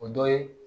O dɔ ye